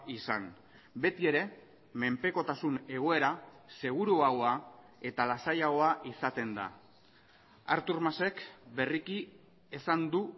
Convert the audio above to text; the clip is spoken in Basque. izan beti ere menpekotasun egoera seguruagoa eta lasaiagoa izaten da artur masek berriki esan du